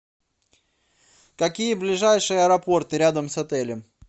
какие ближайшие аэропорты рядом с отелем